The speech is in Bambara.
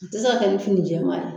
A tɛ se ka ni fini jɛman ye